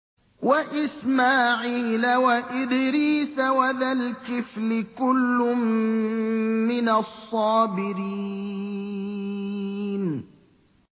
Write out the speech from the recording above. وَإِسْمَاعِيلَ وَإِدْرِيسَ وَذَا الْكِفْلِ ۖ كُلٌّ مِّنَ الصَّابِرِينَ